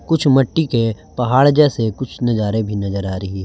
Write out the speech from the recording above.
कुछ मट्टी के पहाड़ जैसे कुछ नजारे भी नजर आ रही है।